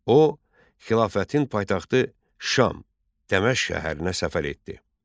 O, xilafətin paytaxtı Şam, Dəməşq şəhərinə səfər etdi.